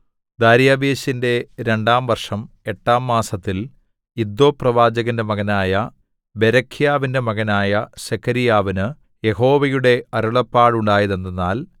ദാര്യാവേശിന്റെ രണ്ടാം വർഷം എട്ടാം മാസത്തിൽ ഇദ്ദോപ്രവാചകന്റെ മകനായ ബെരെഖ്യാവിന്റെ മകനായ സെഖര്യാവിനു യഹോവയുടെ അരുളപ്പാടുണ്ടായതെന്തെന്നാൽ